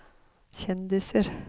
kjendiser